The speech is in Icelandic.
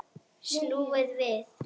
Snúið við!